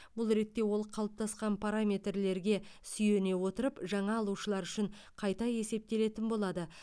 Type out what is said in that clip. бұл ретте ол қалыптасқан параметрлерге сүйене отырып жаңа алушылар үшін қайта есептелетін болады